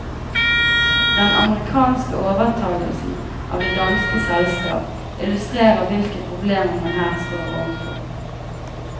Den amerikanske overtagelse av det danske selskap illustrerer hvilke problemer man her står overfor.